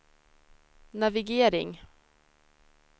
navigering